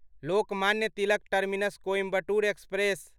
Lokmanya Tilak terminus Coimbatore express